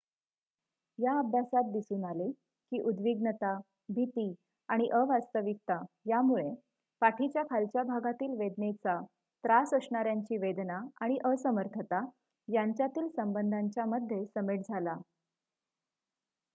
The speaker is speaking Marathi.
या अभ्यासात दिसून आले की उद्विग्नता भिती आणि अवास्तविकता यामुळे पाठीच्या खालच्या भागातील वेदनेचा त्रास असणाऱ्यांची वेदना आणि असमर्थता यांच्यातील संबंधांच्या मध्ये समेट झाला